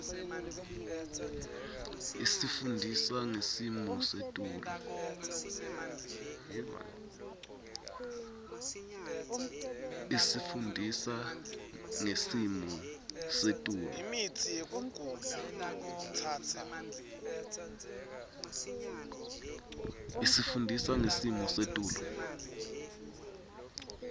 isifundisa ngesimo setulu